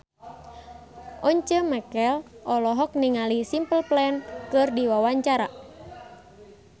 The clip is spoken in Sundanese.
Once Mekel olohok ningali Simple Plan keur diwawancara